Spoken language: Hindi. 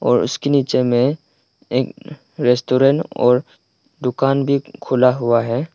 और उसके नीचे में एक रेस्टोरेंट और दुकान भी खुला हुआ है।